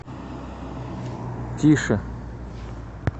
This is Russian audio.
тише